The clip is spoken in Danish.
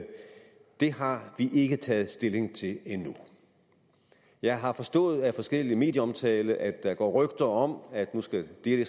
det har vi ikke taget stilling til endnu jeg har forstået af forskellig medieomtale at der går rygter om at nu skal det